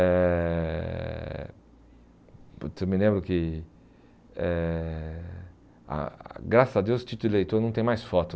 Eh eu me lembro que, eh ah graças a Deus, o título de eleitor não tem mais foto.